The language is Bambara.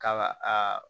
Ka a